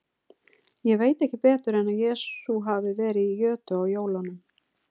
Ég veit ekki betur en að Jesús hafi verið í jötu á jólunum.